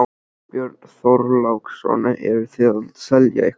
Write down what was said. Björn Þorláksson: Eruð þið að selja eitthvað?